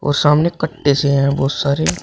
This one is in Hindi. सामने कट्टे से हैं वह सारे।